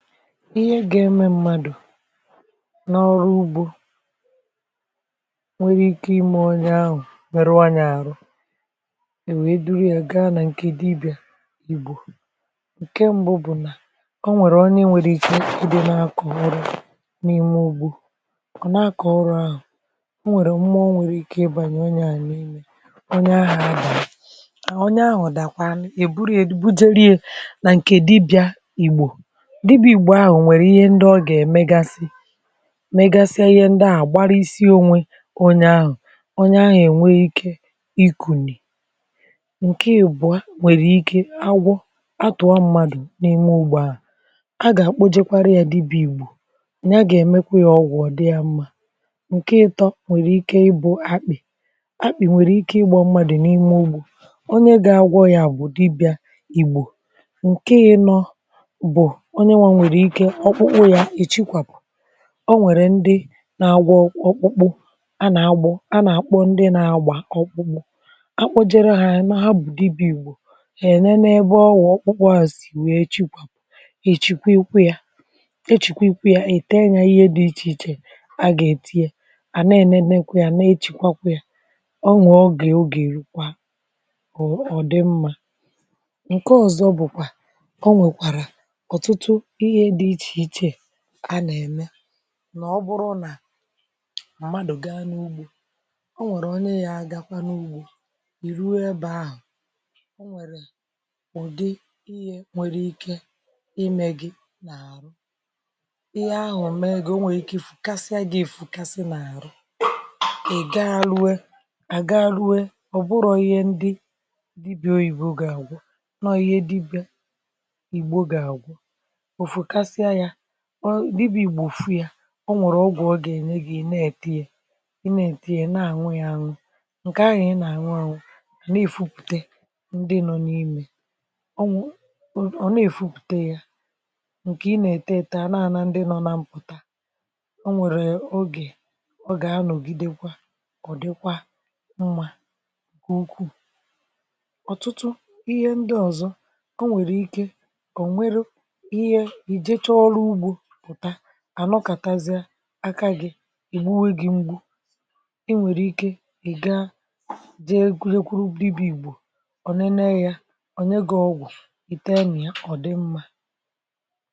ihe ga-eme mmadụ̀ n’ọrụ ugbȯ nwere ike ime onye ahụ̀ nwerewanyà ahụ̀ um e wee dịrị ya gaa nà ǹkè dibị̀à igbò ǹke mbụ bụ̀ nà o nwèrè onye nwere ike ikide nà-akọ̀hụrụ n’ime ugbȯ um ọ nà-akọ̀ ọrụ ahụ̀ o nwèrè mmụọ nwere ike ịbànyà onye ahụ̀ onye ahụ̀ dàkwà um è burie bujerie nà ǹkè dibịà igbò mmegasị ihe ndị ahụ̀ gbarịsịonwe um onye ahụ̀ onye ahụ̀ ènwe ikė ikùnì ǹke ìbụ̀a nwèrè ike agwọ atụ̀ọ mmadụ̀ n’ime ụgbọ̀ ahụ̀ um a gà-àkpọ jekwarị ya dibì igbò ǹke a gà-èmekwa ya ọgwọ̇ dị ya mmȧ ǹke ịtọ nwèrè ike um ịbụ̇ akpị̀ akpị̀ nwèrè ike ịgbọ mmadụ̀ n’ime ugbȯ onye ga-agwọ ya bụ̀ dibị̀a ìgbò um ǹke iṅọ ọ nwèrè ndị na-agwọ ọkpụkpụ a nà-agbọ um a nà-àkpụ ndị na-agbà ọkpụkpụ akpụjere ha ya nọ ha bụ̀ dibì ìgbò ène n’ebe ọgọ̀ ọkpụkpụ um a sì nwèe chikwà èchikwe ya echìkwe ya ète ya ihe dị̇ ichèichè a gà-èti ya um à na-ènemekwa ya na-echìkwakwa ya ọ nwẹ̀ ọgị̀ ogè èkwa um ọ dị mmȧ ǹke ọ̀zọ bụ̀kwà a nà-ème nà ọ bụrụ nà mmadụ̀ gaa n’ugbȯ um ọ nwẹ̀rẹ̀ onye ya agakwa n’ugbȯ ì ruo ebė ahụ̀ um ọ nwẹ̀rẹ̀ ụ̀dị ihe nwẹ̇rẹ̀ ike imẹ̇ gi n’àrụ ihe ahụ̀ mme egȯ um o nwèrè ike ị fụ̀kasịa gị̇ ifùkasị n’àrụ ị̀ gaa rue à gaa rue um ọ̀ bụrụ̇ ihe ndị dibị̇ọ ìbo gà-àgwọ nọ ihe dibị̇ọ ìgbo gà-àgwọ um ọ dị bụ̀ ìgbòfu ya ọ nwèrè ọ gà-ènye gà-ènye na-ète ya ị na-ète ya na-ànwe ya ànụ̀ um ǹkè ahụ̀ ị nà-ànwe ànụ̀ na-èfupùte ndị nọ n’ime um ọ nwụ̀ ọ̀ na-èfupùte ya ǹkè ị nà-ètè ètè ana-ana ndị nọ na mpụ̀ta um o nwèrè ogè ogè anọ̀gidekwa ọ̀ dịkwa mmà um ukwuu ọ̀tụtụ ihe ndị ọ̀zọ o nwèrè ike ànọkàtazịa akȧghị̇ um ì bu wee gị̇ mgbu e nwèrè ike ị̀ ga jee gụnyekwụrụ bidobì igbuò um ọ nene ya onye gị̇ ọgwụ̀ ite nà ya ọ̀ dị mmȧ